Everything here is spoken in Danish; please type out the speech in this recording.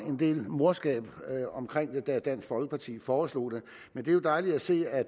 en del morskab da dansk folkeparti foreslog det men det er jo dejligt at se at